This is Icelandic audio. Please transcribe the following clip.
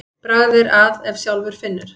Bragð er að ef sjálfur finnur.